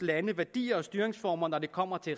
landes værdier og styringsformer når det kommer til